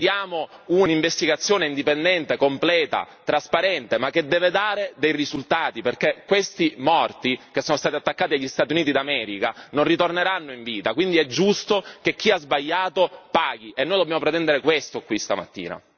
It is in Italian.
Chiediamo un'investigazione indipendente, completa, trasparente ma che deve dare dei risultati perché questi morti, che sono stati attaccati dagli Stati Uniti d'America, non ritorneranno in vita, quindi è giusto che chi ha sbagliato paghi, ed è questo che dobbiamo pretendere, qui stamattina.